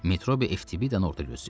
Metrobi FTBidanı orada gözləyirdi.